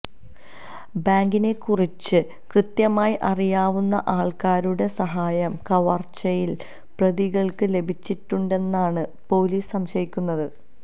ബാങ്കിനെക്കുറിച്ച് കൃത്യമായി അറിയാവുന്ന ആള്ക്കാരുടെ സഹായം കവര്ച്ചയില് പ്രതികള്ക്ക് ലഭിച്ചിട്ടുണ്ടെന്നാണ് പോലീസ് സംശയിക്കുന്നത്